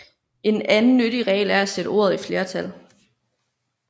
En anden nyttig regel er at sætte ordet i flertal